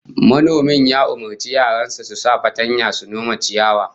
Manomin ya umurci yaran sa su sa fatanya su nome ciyawar